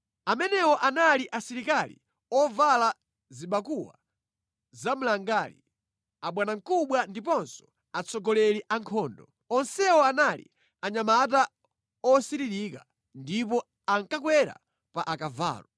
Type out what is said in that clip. Amenewo anali asilikali ovala zibakuwa zamlangali, abwanamkubwa ndiponso atsogoleri a nkhondo. Onsewo anali anyamata osiririka ndipo ankakwera pa akavalo.